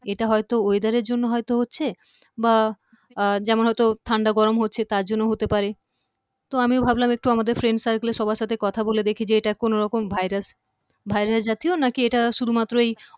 এটা হয়তো weather এর জন্য হয়তো হচ্ছে বা আহ যেমন হয়তো ঠান্ডা গরম হচ্ছে তার জন্য হতে পারে তো আমিও ভাবলাম একটু আমাদের friend circle এ সবার সাথে কথা দেখি যে এটা কোনো রকম ভাইরাস ভাইরাস জাতীয় নাকি এটা শুধুমাত্রই